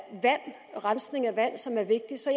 rensning af vand som er vigtig så